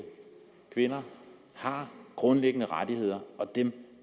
kvinder har grundlæggende rettigheder og dem